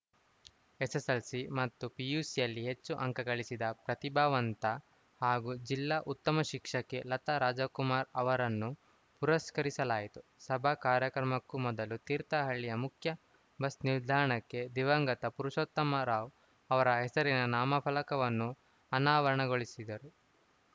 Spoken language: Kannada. ಎಸ್‌ಎಸ್‌ಎಲ್‌ಸಿ ಮತ್ತು ಪಿಯುಸಿಯಲ್ಲಿ ಹೆಚ್ಚು ಅಂಕ ಗಳಿಸಿದ ಪ್ರತಿಭಾವಂತ ಹಾಗೂ ಜಿಲ್ಲಾ ಉತ್ತಮ ಶಿಕ್ಷಕಿ ಲತಾ ರಾಜಕುಮಾರ್‌ ಅವರನ್ನು ಪುರಸ್ಕರಿಸಲಾಯಿತು ಸಭಾ ಕಾರ್ಯಕ್ರಮಕ್ಕೂ ಮೊದಲು ತೀರ್ಥಹಳ್ಳಿಯ ಮುಖ್ಯ ಬಸ್‌ ನಿಲ್ದಾಣಕ್ಕೆ ದಿವಂಗತ ಪುರುಷೋತ್ತಮರಾವ್‌ ಅವರ ಹೆಸರಿನ ನಾಮಫಲಕವನ್ನು ಅನಾವರಣಗೊಳಿಸಿದರು